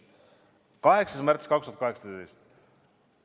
8. märts 2018.